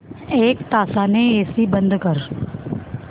एक तासाने एसी बंद कर